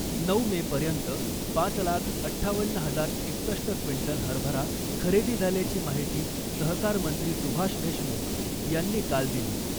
नऊ मेपर्यंत पाच लाख अठ्ठावन्न हजार एकसष्ट क्विंटल हरभरा खरेदी झाल्याची माहिती सहकारमंत्री सुभाष देशमुख यांनी काल दिली .